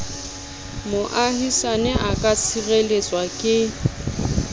moahisane a ka tshireletswa ke